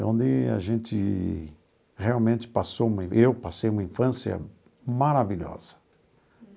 É onde a gente realmente passou, eu passei uma infância maravilhosa.